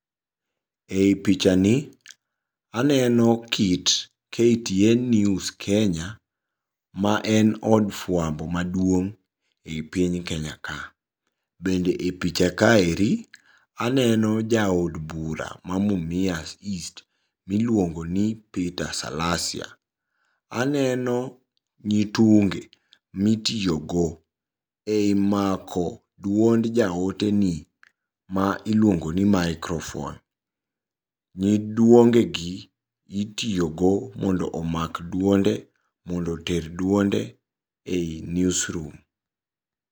Ei pichani aneno kit KTN News Kenya, maen od fuambo maduong' e piny Kenya ka, bende e picha kaeri aneno jaod bura ma Mumias East miluongoni Peter Salasya. Aneno nyitunge mitiyogo ei mako duond jaoteni mailuongoni microphone. Nyiduongegi itiyogo mondo omak duonde mondo oter duonde ei newsroom.